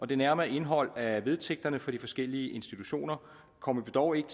det nærmere indhold af vedtægterne for de forskellige institutioner kommer vi dog ikke